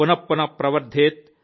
పునః ్పు్పున ప్రవర్దెత్